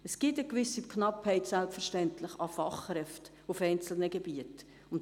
Es gibt eine gewisse Knappheit an Fachkräften in einzelnen Gebieten.